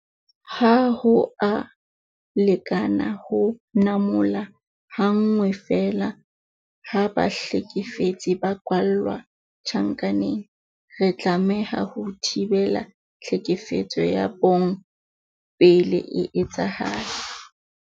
Ha ho a lekana ho namola ha nngwe feela ha bahlekefetsi ba kwalla tjhankaneng. Re tlameha ho thibela tlhekefetso ya bong pele e etsahala.